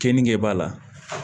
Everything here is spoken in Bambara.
Keninge b'a la